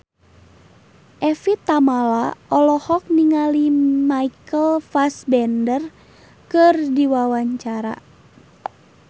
Evie Tamala olohok ningali Michael Fassbender keur diwawancara